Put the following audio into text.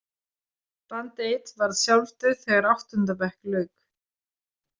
Band eight varð sjálfdauð þegar áttunda bekk lauk.